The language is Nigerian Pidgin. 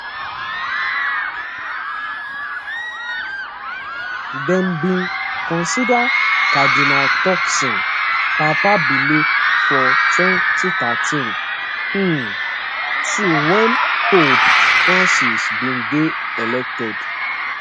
dem bin consider cardinal turkson papabile for 2013 um too wen pope francis bin dey elected